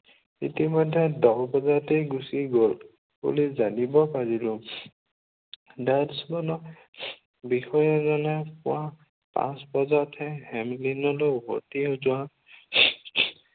ইতিমধ্য়ে দহ বজাতেই গুচি গল বুলি জানিব পাৰিলো। watchman বষয়াজনক পুৱা পাঁচ বজাতহে হেমলিনলৈ ভটিয়াই যোৱা